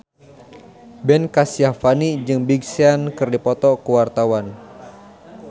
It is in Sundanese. Ben Kasyafani jeung Big Sean keur dipoto ku wartawan